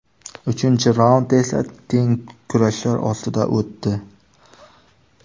Uchinchi raund esa teng kurashlar ostida o‘tdi.